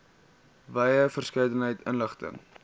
wye verskeidenheid inligting